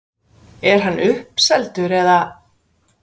Er hann uppseldur eða?